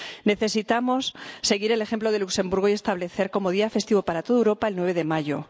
Necesitamos seguir el ejemplo de Luxemburgo y establecer como día festivo para toda Europa el 9 de mayo.